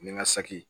Nin ka saki